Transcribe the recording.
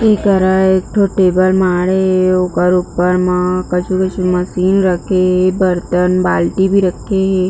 ए करा एकठो टेबल माड़े हे ओकर ऊपर म कछु-कछु मशीन रखे हे बर्तन बाल्टी भी रखे हे।